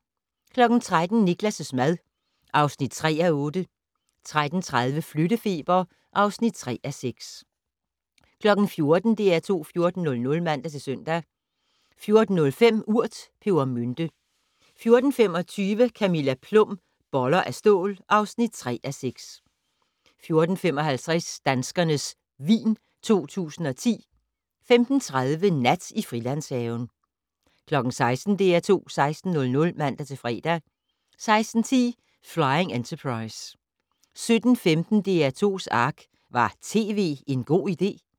13:00: Niklas' mad (3:8) 13:30: Flyttefeber (3:6) 14:00: DR2 14:00 (man-søn) 14:05: Urt: pebermynte 14:25: Camilla Plum - Boller af stål (3:6) 14:55: Danskernes vin 2010 15:30: Nat i Frilandshaven 16:00: DR2 16:00 (man-fre) 16:10: Flying Enterprise 17:15: DR2's Ark - Var tv en god idé?